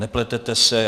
Nepletete se.